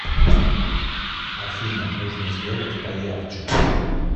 афина нужно сделать поярче